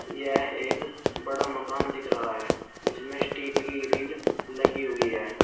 यह एक बड़ा मकान दिख रहा है इसमें स्टील की ग्रिल लगी हुई है।